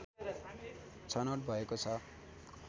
छनौट भएको छ